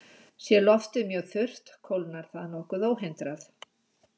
Sé loftið mjög þurrt kólnar það nokkuð óhindrað.